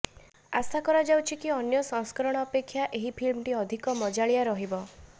ଆଶା କରାଯାଉଛି କି ଅନ୍ୟ ସଂସ୍କରଣ ଅପେକ୍ଷା ଏହି ଫିଲ୍ମଟି ଅଧିକ ମଜାଳିଆ ରହିବ